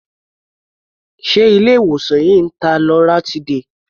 Ṣé ilé-ìwòsàn yìí ń ta loratiday?